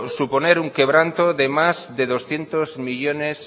suponer un quebranto de más de doscientos millónes